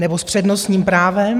Nebo s přednostním právem.